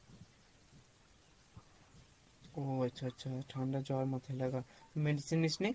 ও আচ্ছা আচ্ছা ঠাণ্ডা জ্বর মাথাই লাগা, medicine নিসনি?